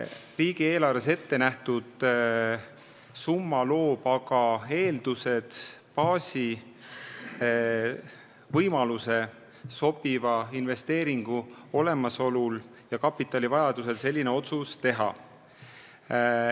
Riigieelarves ette nähtud summa loob aga eeldused, baasi, võimaluse sobiva investeeringu olemasolu ja kapitali vajaduse korral selline otsus teha.